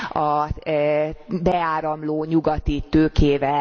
a beáramló nyugati tőkével.